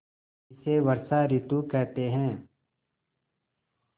इसे वर्षा ॠतु कहते हैं